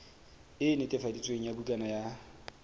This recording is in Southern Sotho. e netefaditsweng ya bukana ya